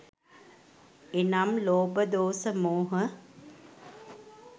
එනම් ලෝභ, දෝස, මෝහ